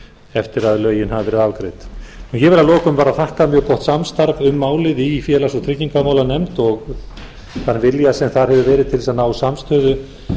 eftir að lögin hafa verið afgreidd ég vil að lokum bara þakka mjög gott samstarf um málið í félags og tryggingamálanefnd og þann vilja sem þar hefur verið til þess að ná samstöðu